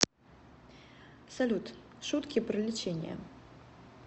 салют шутки про лечение